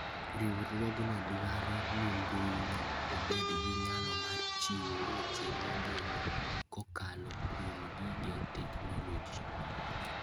Riwruogno dwaro nimbuino obed gi nyalo mar chiwo weche migeno kokalo kuom gige teknoloji.